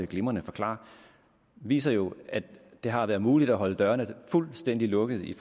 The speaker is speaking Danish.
glimrende forklarer viser jo at det har været muligt at holde dørene fuldstændig lukkede i